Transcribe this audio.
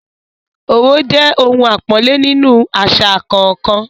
òwe jẹ ohun àpọ́nlé nínú àṣà kọ̀ọ̀kan.